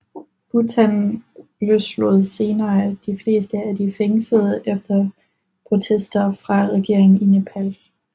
Bhutan løslod senere de fleste af de fængslede efter protester fra regeringen i Nepal